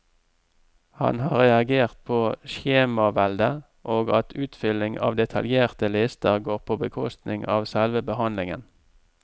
Han har reagert på skjemaveldet, og at utfylling av detaljerte lister går på bekostning av selve behandlingen.